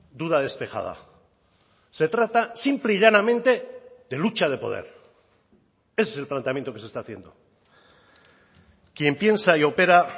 duda despejada se trata simple y llanamente de lucha de poder ese es el planteamiento que se está haciendo quien piensa y opera